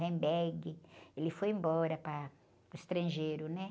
ele foi embora para o estrangeiro, né?